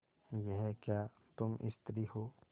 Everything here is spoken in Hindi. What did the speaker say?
यह क्या तुम स्त्री हो